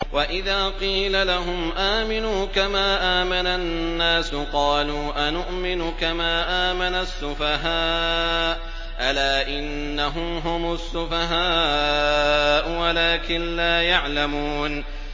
وَإِذَا قِيلَ لَهُمْ آمِنُوا كَمَا آمَنَ النَّاسُ قَالُوا أَنُؤْمِنُ كَمَا آمَنَ السُّفَهَاءُ ۗ أَلَا إِنَّهُمْ هُمُ السُّفَهَاءُ وَلَٰكِن لَّا يَعْلَمُونَ